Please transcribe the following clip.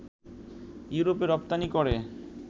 ইউরোপে রপ্তানি করে